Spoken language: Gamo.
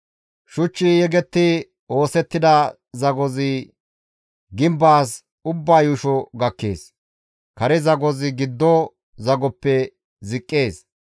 Shuchchi yegetti oosettida zagozi gimbaas ubba yuusho gakkees; kare zagozi giddo zagoppe ziqqees.